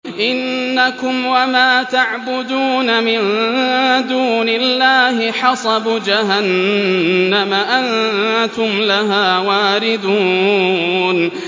إِنَّكُمْ وَمَا تَعْبُدُونَ مِن دُونِ اللَّهِ حَصَبُ جَهَنَّمَ أَنتُمْ لَهَا وَارِدُونَ